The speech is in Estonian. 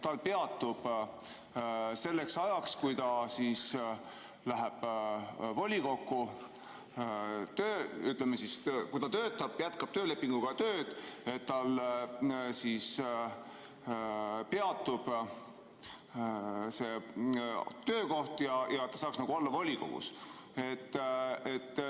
Tal peatub selleks ajaks, kui ta läheb volikokku, töö, ütleme siis, kui ta töötab, jätkab töölepinguga tööd, tal peatub see töökoht ja ta saaks olla volikogus.